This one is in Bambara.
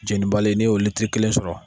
jenibali n'i y'o kelen sɔrɔ.